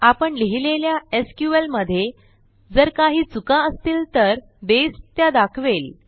आपण लिहिलेल्या एसक्यूएल मधे जर काही चुका असतील तर बसे त्या दाखवेल